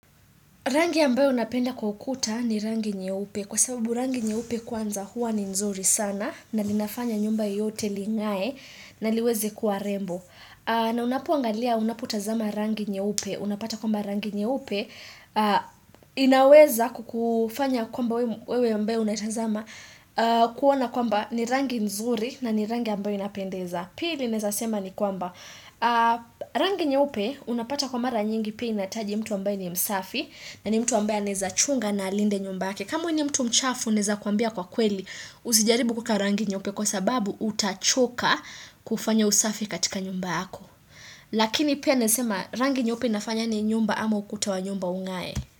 Rangi ambayo napenda kwa ukuta ni rangi nyeupe kwa sababu rangi nyeupe kwanza huwa ni nzuri sana na linafanya nyumba yote lin'gae na liweze kuwa rembo. Na unapoangalia unapotazama rangi nyeupe. Unapata kwamba rangi nyeupe inaweza kukufanya kwamba wewe ambaye unatazama kuwana kwamba ni rangi nzuri na ni rangi ambayo inapendeza. Pili naweza sema ni kwamba, rangi nyeupe unapata kwa mara nyingi pia inahitaji mtu ambaye ni msafi na ni mtu ambaye anaeza chunga na alinde nyumba yake. Kama we ni mtu mchafu naweza kukwambia kwa kweli, usijaribu kuweka rangi nyeupe kwa sababu utachoka kufanya usafi katika nyumba yako. Lakini pia nesema rangi nyeupe inafanya ni nyumba ama ukuta wa nyumba un'gae.